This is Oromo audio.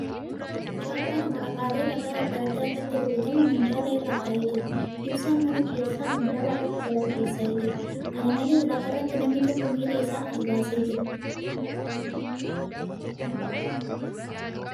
Chaappaan waraqaalee ragaa adda adda irratti rukutamu minjaala irra taa'ee jira. Ibsaan mana keessaa minjaala irratti balaqqeessa'ee jira . Kana malees , lafa irratti namni tokko miila isaa as baasee jira.